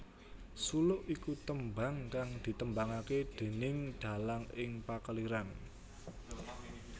Suluk iku tembang kang ditembangake déning dalang ing pakeliran